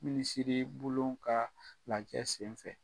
Minisiri bulon ka lajɛ sen fɛ.